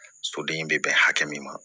Soden bɛ bɛn hakɛ min ma